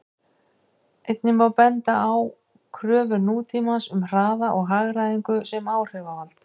Einnig má benda á kröfur nútímans um hraða og hagræðingu sem áhrifavald.